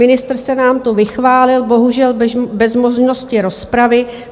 Ministr se nám tu vychválil, bohužel bez možnosti rozpravy.